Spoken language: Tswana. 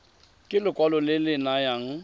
ke lekwalo le le nayang